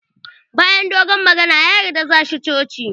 Bayan dogon magana, ya yarda za shi cocin